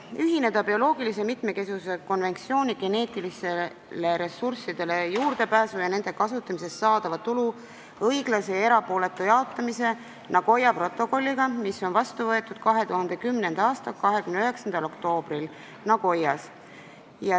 Esimene: ühineda bioloogilise mitmekesisuse konventsiooni geneetilistele ressurssidele juurdepääsu ja nende kasutamisest saadava tulu õiglase ja erapooletu jaotamise Nagoya protokolliga, mis on vastu võetud 2010. aasta 29. oktoobril Nagoyas.